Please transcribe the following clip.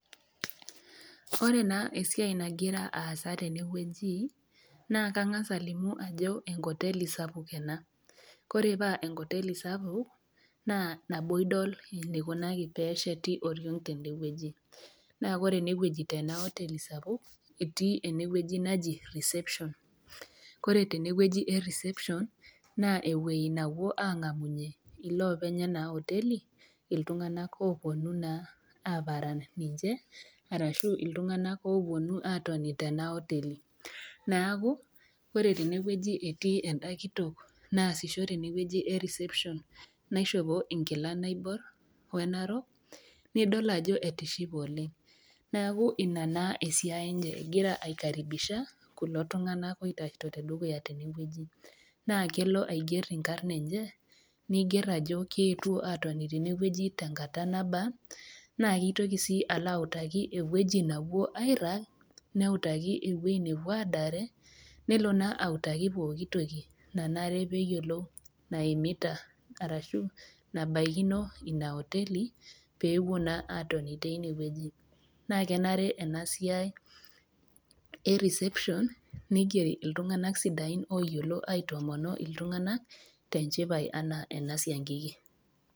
Ore naa esiai nagira aasa tenewueji naa kang'ass alimu ajo enkoteli sapuk ena, ore paa enkoteli sapuk, naa nabo idol eneikuni pee esheti oriong tende wueji, naa ore tena oteli sapuk etii ene wueji naji reception. Kore tene wueji e reception naa ewueji napuo iloopeny Lena oteli iltung'ana oopuonu naa aparan ninche, arashu iltung'ana oopuonu aatoni tena koteli, neaku ore tene wueji etii enda kitok naasisho tenewueji e reception naishopo inkilani naobor we enarok, nidol ajo etishipe oleng', neaku Ina naa esiai enye egira aikaribisha kulo tung'ana oitashito te dukuya tene wueji, naa kelo aiger inkarn enye, neiger ajo keetuo atonita tene wueji tenkata nabaa, naa keitoki sii alo autaki ewueji napuo airag, neutaki ewueji napuo aadare nelo naa autaki pookitoki nanare peyiolou naimita arashu nabaikino Ina koteli pee epuo naa atoni teine wueji. Naa enare ena siai e reception neigeri iltung'ana sidain oyiolo aitoomono iltung'ana te enchipai anaa ena siankiki.